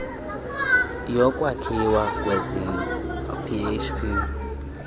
yokwakhiwa kwezindlu php